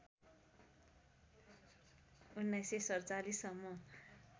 १९४७ सम्म